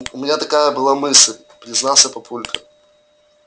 у меня такая была мысль признался папулька